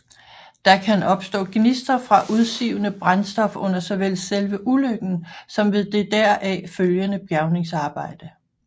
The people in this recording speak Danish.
Der kan opstå gnister fra udsivende brændstof under såvel selve ulykken som ved det deraf følgende bjergningsarbejde